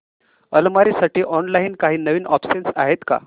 अलमारी साठी ऑनलाइन काही नवीन ऑप्शन्स आहेत का